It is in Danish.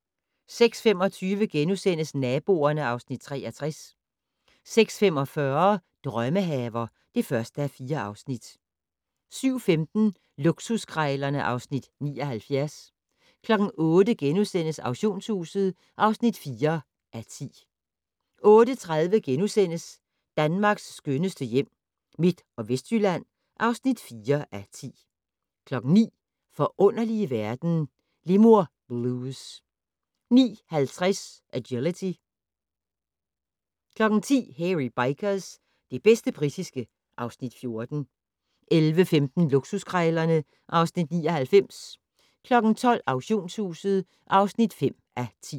06:25: Naboerne (Afs. 63)* 06:45: Drømmehaver (1:4) 07:15: Luksuskrejlerne (Afs. 79) 08:00: Auktionshuset (4:10)* 08:30: Danmarks skønneste hjem - Midt- og Vestjylland (4:10)* 09:00: Forunderlige verden - Lemur Blues 09:50: Agility 10:00: Hairy Bikers - det bedste britiske (Afs. 14) 11:15: Luksuskrejlerne (Afs. 99) 12:00: Auktionshuset (5:10)